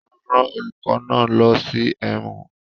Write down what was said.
A rán olùkọ́ náà lọ sí ẹ̀wọ̀n